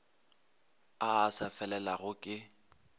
a a sa felelago ke